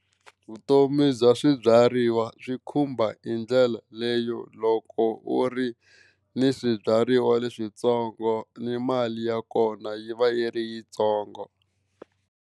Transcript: Vutomi bya swibyariwa swi khumba hi ndlela leyo loko u ri ni swibyariwa leswintsongo ni mali ya kona yi va yi ri yitsongo.